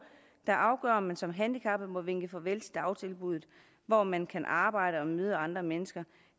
der afgør om man som handikappet må vinke farvel til dagtilbuddet hvor man kan arbejde og møde andre mennesker